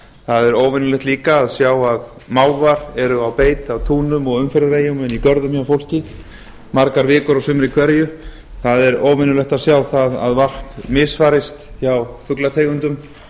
það er óvenjulegt líka að sjá að mávar eru á beit á túnum og umferðareyjum og inni í görðum hjá fólki margar vikur á sumri hverju það er óvenjulegt að sjá það að varp misferst hjá fuglategundum